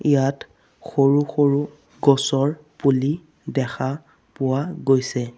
ইয়াত সৰু-সৰু গছৰ পুলি দেখা পোৱা গৈছে।